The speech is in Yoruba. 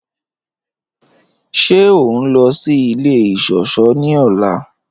Ṣẹ o nlọ sí ilẹ̀ iṣọ̀ṣọ̀ ni ọla?